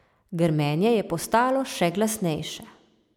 Grmenje je postalo še glasnejše.